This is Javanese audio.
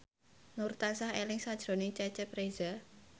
Nur tansah eling sakjroning Cecep Reza